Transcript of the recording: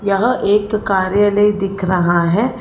यहां एक कार्यालय दिख रहा है।